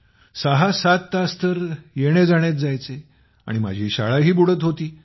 सहा तास तर येण्याजाण्यात जायचे आणि माझी शाळाही बुडत होती